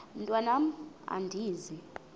mntwan am andizi